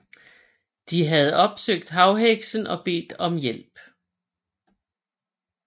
De havde opsøgt havheksen og bedt om hjælp